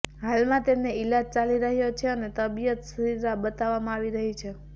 હાલમાં તેમનો ઈલાજ ચાલી રહ્યો છે અને તબિયત સ્થિર બતાવવામાં આવી રહી છે